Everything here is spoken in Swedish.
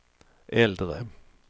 äldre